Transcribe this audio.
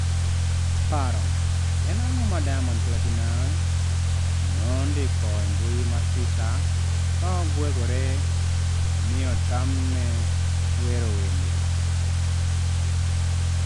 Paro: En ang'o ma Diamond Platnumz nondiko e mbui mar Twitter ka ogwegore ni otamne wero wende?